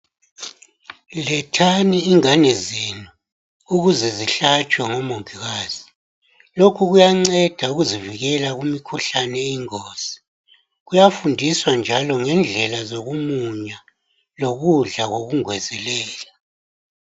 Lethani ingani zenu ukuze zihlatshwe ngomongikazi lokhu kuyanceda ukuzivikela kumikhuhlane eyingozi kuyafundiswa njalo ngendlela zokumunya lokudla kokungezelela